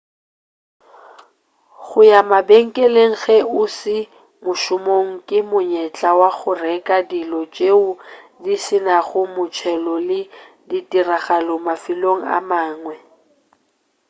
go ya mabenkeleng ge o se mošomong ke monyetla wa go reka dilo tšeo di se nago motšhelo le ditiragalo mafelong a mangwe